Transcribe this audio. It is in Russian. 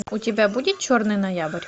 у тебя будет черный ноябрь